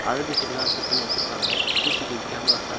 அழகு செடிலா செட் பண்ணி வெச்சுருக்காங்க சி_சி_டி_வி கேமராஸ்லா இருக்கு.